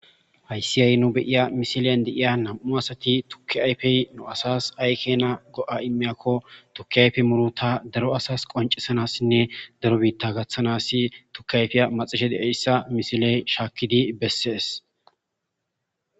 Hayssi yay nu beiya misileyan deiya nam'u asati tukki ayfey nu asas aykena go'a immiyakko tuki ayfe muru ta daro asas qoncisanassinne daro biitta gaththanas tukiayfiya maxishe de'eyssa misiley shaakkidi bessees.